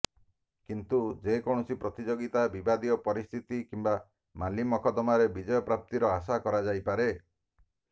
କିନ୍ତୁ ଯେକୌଣସି ପ୍ରତିଯୋଗିତା ବିବାଦୀୟ ପରିସ୍ଥିତି କିମ୍ବା ମାଲିମକଦ୍ଦମାରେ ବିଜୟପ୍ରାପ୍ତିର ଆଶା କରାଯାଇପାରେ